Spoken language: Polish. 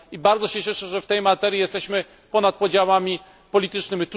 Bardzo się cieszę, że w tej materii jesteśmy ponad podziałami politycznymi.